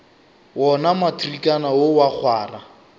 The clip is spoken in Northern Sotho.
wona matrikana wo wa kgwara